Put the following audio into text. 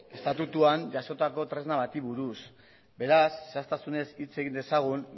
estatutuan jasotako tresna bati buruz beraz zehaztasunez hitz egin dezagun